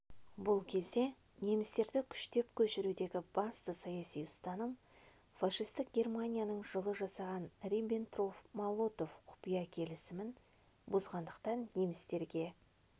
бұл кезде немістерді күштеп көшірудегі басты саяси ұстаным фашистік германияның жылы жасаған риббентроп-молотов құпия келісімін бұзғандықтан немістерге